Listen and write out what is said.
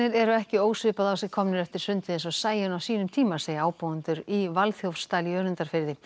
eru ekki ósvipað á sig komnir eftir sundið eins og Sæunn á sínum tíma segja ábúendur í Valþjófsdal í Önundarfirði